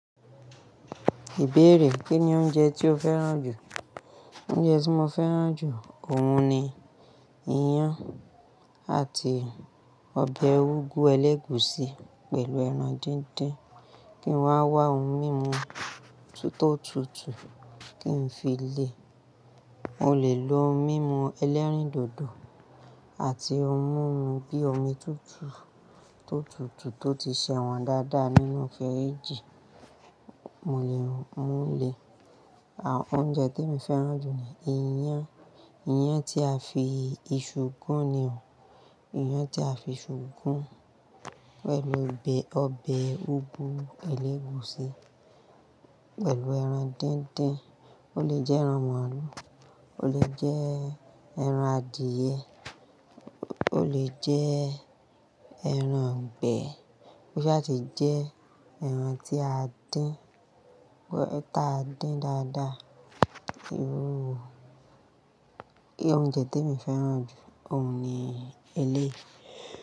Ìbéèrè: Kí ni oúnjẹ tí o fẹ́ràn jù? Oúnjẹ tí mo fẹ́ràn jù, òhun ni iyán àti ọbẹ̀ úgú ẹlẹ́gùúsí pẹ̀lú ẹran díndín. Kí n wá wá ohun mímu tó tutù kí n fi le? Mo lè lo mímu ẹlẹ́rìndòdò àti ohun mímu bíi omi tútù tó tutù tó ti sẹ́wọ̀n dáadáa nínú fíríjì. Mo lè mú lè. Oúnjẹ tí mo fẹ́ràn jù ni iyán. Iyán tí a fi iṣu gún ni òun. Iyán tí a fi iṣu gún pẹ̀lú ọbẹ̀ úgú ẹlẹ́gùúsí pẹ̀lù ẹran díndín. Ó lè jẹ́ ẹran màlúù, ó lè jẹ́ ẹran adìẹ, ó lè jẹ́ ẹran ìgbẹ́, ó sì le jẹ́ ẹran tí a dín táa dín dáadáa. Irú òúnjẹ tí mo fẹ́ràn jù òun ni eléyìí.